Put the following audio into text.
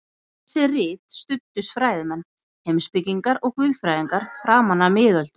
Við þessi rit studdust fræðimenn, heimspekingar og guðfræðingar framan af miðöldum.